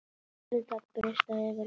Verður það betra fyrir vikið?